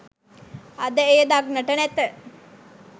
අද එය දක්නට නැත